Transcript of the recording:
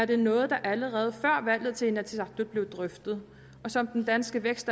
det er noget der allerede før valget til inatsisartut blev drøftet og som den danske